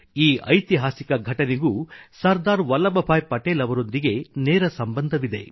ಈ ಐತಿಹಾಸಿಕ ಘಟನೆಗೂ ಸರ್ದಾರ್ ವಲ್ಲಭ್ ಭಾಯಿ ಪಟೇಲ್ ಅವರೊಂದಿಗೆ ನೇರ ಸಂಬಂಧವಿದೆ